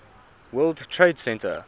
world trade center